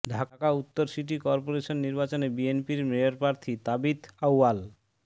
ঢাকা উত্তর city corporation নির্বাচনে বিএনপির মেয়রপ্রার্থী তাবিথ আউয়াল